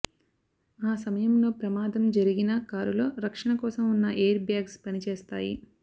ఆ సమయంలో ప్రమాదం జరిగినా కారులో రక్షణ కోసం ఉన్న ఎయిర్ బ్యాగ్స్ పనిచేస్తాయి